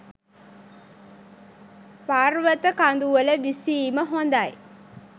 පර්වත කඳුවල විසීම හොඳයි.